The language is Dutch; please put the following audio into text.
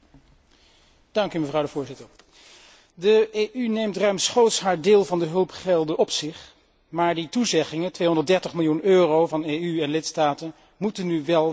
Mevrouw de Voorzitter, de EU neemt ruimschoots haar deel van de hulpgelden op zich, maar die toezeggingen, 230 miljoen euro van EU en lidstaten, moeten nu wel worden waargemaakt.